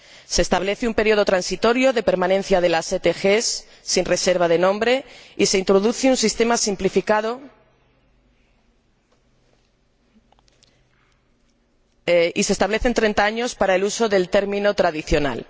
Se establece un período transitorio de permanencia de las ETG sin reserva de nombre, se introduce un sistema simplificado y se establecen 30 años para el uso del término tradicional.